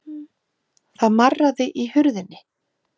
Það marraði í hurðinni.